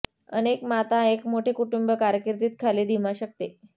अनेक माता एक मोठे कुटुंब कारकिर्दीत खाली धीमा शकते